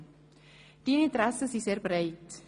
Deine Interessen sind sehr breit.